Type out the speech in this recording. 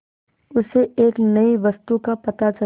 उसे एक नई वस्तु का पता चला